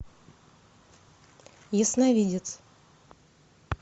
ясновидец